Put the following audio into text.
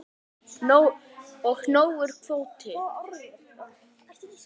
Og nógur kvóti.